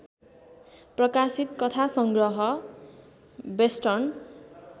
प्रकाशित कथासंग्रह बेस्टर्न